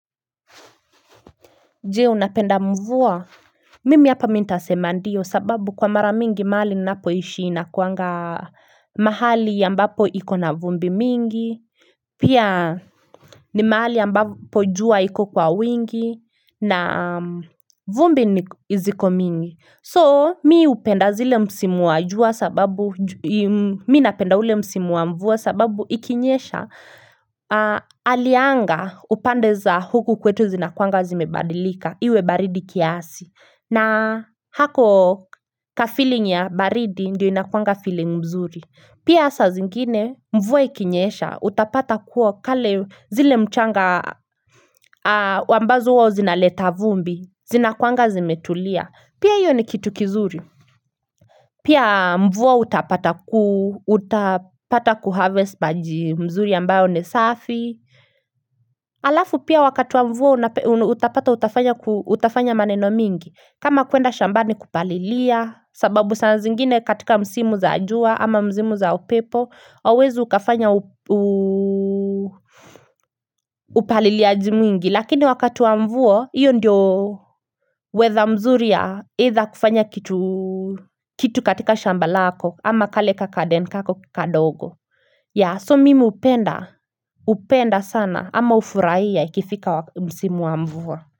Jee unapenda mvua, mimi hapa mi nitasema ndio sababu kwa mara mingi mahali ninapoishi inakuanga mahali ambapo ikona vumbi mingi, pia ni mahali ambapo jua iko kwa wingi na vumbi ni ziko mingi. So mi upenda zile msimu wa jua sababu, mi napenda ule msimu wa mvua sababu ikinyesha alianga upande za huku kwetu zinakuanga zimebadilika iwe baridi kiasi. Na hako kafeeling ya baridi ndio inakuanga feeling mzuri. Pia sa zingine mvua ikinyesha utapata kuo kale zile mchanga ambazo huwa zinaleta vumbi, zinakuanga zimetulia. Pia hiyo ni kitu kizuri Pia mvua uta pata ku Uta pata ku harvest maji mzuri ambayo ni safi Alafu pia wakati wa mvua Utapata utafanya maneno mingi kama kuenda shambani kupalilia sababu saa nzingine katika msimu za jua ama msimu za upepo hauwezi ukafanya upaliliaji mwingi Lakini wakati wa mvua Iyo ndio wetha mzuri ya eidha kufanya kitu kitu katika shamba lako ama kale kagaden kako kadogo ya so mimi upenda upenda sana ama ufurai ya ikifika msimu wa mvua.